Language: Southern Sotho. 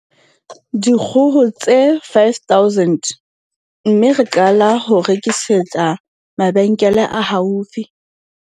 Dikgoho tse 5 000 mme ra qala ho rekisetsa mabe nkele a haufi.